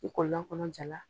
N kɔnɔ ja la.